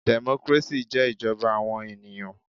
Democracy jẹ́ ìjọba àwọn ènìyàn.